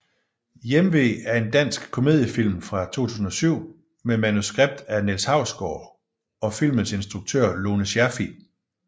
Hjemve er en dansk komediefilm fra 2007 med manuskript af Niels Hausgaard og filmens instruktør Lone Scherfig